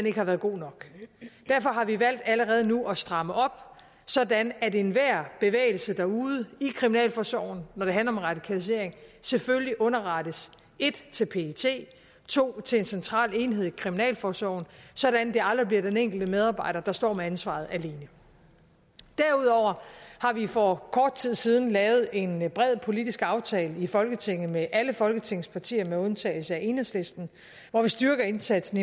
ikke har været god nok derfor har vi valgt allerede nu at stramme op sådan at enhver bevægelse derude i kriminalforsorgen når det handler om radikalisering selvfølgelig underrettes 1 til pet 2 til en central enhed i kriminalforsorgen sådan at det aldrig bliver den enkelte medarbejder der står med ansvaret alene derudover har vi for kort tid siden lavet en bred politisk aftale i folketinget med alle folketingets partier med undtagelse af enhedslisten hvor vi styrker indsatsen